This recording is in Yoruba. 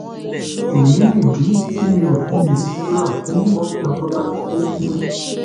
èyí nìdí tí mi ò fi lè ṣàdúrà fún murphy àfọlábàbí tó kù